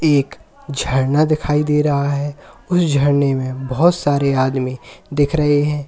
एक झरना दिखाई दे रहा है उस झरने में बहुत सारे आदमी दिख रहे हैं।